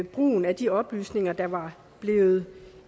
brugen af de oplysninger der var blevet